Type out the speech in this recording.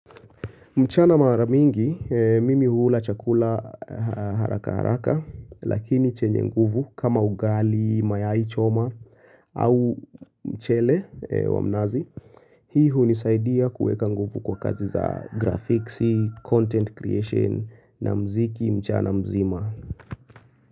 Mchana maramingi mimi hula chakula haraka haraka lakini chenye nguvu kama ugali mayai choma au mchele wa mnazi Hii hunisaidia kuweka nguvu kwa kazi za grafiksi content creation na mziki mchana mzima.